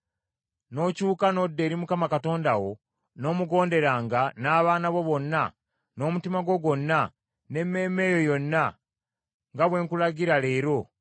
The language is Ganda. n’okyuka n’odda eri Mukama Katonda wo, n’omugonderanga, n’abaana bo bonna, n’omutima gwo gwonna, n’emmeeme yo yonna, nga bwe nkulagira leero,